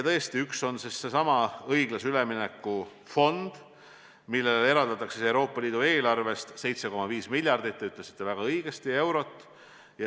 Tõesti, üks on seesama õiglase ülemineku fond, mille jaoks eraldatakse Euroopa Liidu eelarvest 7,5 miljardit eurot, nagu te väga õigesti ütlesite.